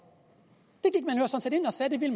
jeg